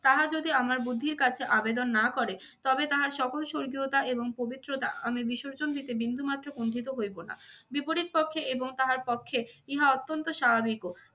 তাহা যদি আমার বুদ্ধির কাছে আবেদন না করে তবে তাহার সকল স্বর্গীয়তা এবং পবিত্রতা আমি বিসর্জন দিতে বিন্দুমাত্র কুণ্ঠিত হইব না। বিপরীত পক্ষে এবং তাহার পক্ষে ইহা অত্যন্ত স্বাভাবিকও।